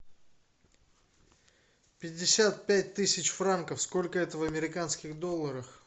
пятьдесят пять тысяч франков сколько это в американских долларах